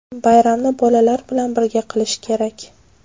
Bayramni bolalar bilan birga qilish kerak.